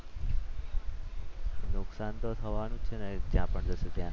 નુકસાન તો થવાનું જ છે ને જ્યાં પણ જશે ત્યાં.